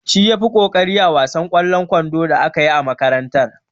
Shi ya fi ƙoƙari a wasan ƙwallon kwando da aka yi a makarantar.